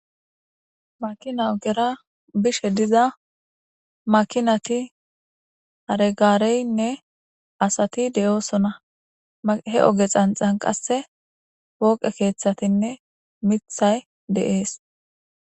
Makina ogera bishe diza makinati haregaareynne asati de'oosona he oge xanxan qasse wooqe keeththatinne mithay de'ees